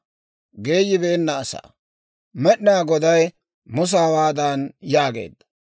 Med'inaa Goday Musa hawaadan yaageedda: